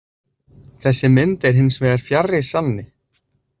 Þessi mynd er hins vegar fjarri sanni.